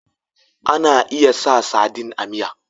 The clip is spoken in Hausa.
Ana iya sa sadin a miya